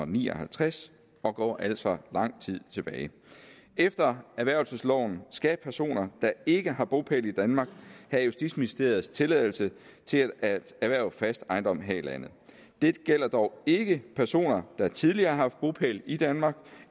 ni og halvtreds og går altså lang tid tilbage efter erhvervelsesloven skal personer der ikke har bopæl i danmark have justitsministeriets tilladelse til at erhverve fast ejendom her i landet dette gælder dog ikke personer der tidligere har haft bopæl i danmark